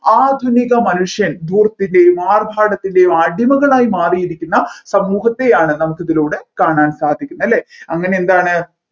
ആധുനിക മനുഷ്യൻ ധൂർത്തിന്റെയും ആർഭാടത്തിന്റെയും അടിമകളായി മാറിയിരിക്കുന്ന സമൂഹത്തെയാണ് നമ്മുക്ക് ഇതിലൂടെ കാണാൻ സാധിക്കുന്നത് അല്ലെ അങ്ങനെ എന്താണ്